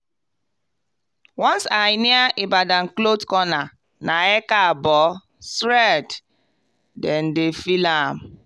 once i near ibadan cloth corner na “ekaabo” straight. dem dey feel am.